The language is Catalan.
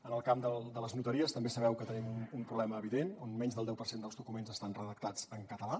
en el camp de les notaries també sabeu que tenim un problema evident on menys del deu per cent dels documents estan redactats en català